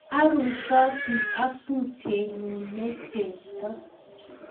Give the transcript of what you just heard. Aruisoti ak tupchenyu ne chepto